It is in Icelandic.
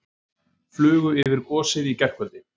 Flugu yfir gosið í gærkvöldi